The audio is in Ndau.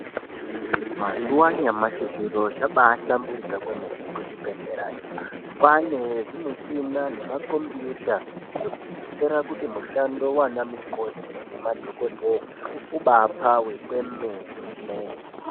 Mazuva anyamashi zviro zvakabahlamburika Kwemene kuzvibhedhlera kwane zvimushini nemakombiyuta kutaura kuti msihando Yana mukoti nana dhokodheya ubapfawe kwemene.